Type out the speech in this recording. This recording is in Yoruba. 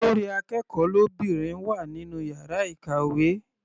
Olórí akẹ́kọ̀ọ́ lóbìnrin wà nínú yàrá ìkàwé.